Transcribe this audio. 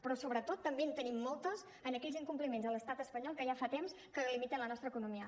però sobretot també en tenim moltes en aquells incompliments a l’estat espanyol que ja fa temps que limiten la nostra economia